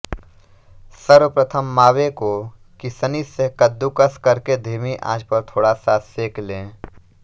सर्वप्रथम मावे को किसनी से कद्दूकस करके धीमी आँच पर थोड़ा सा सेंक लें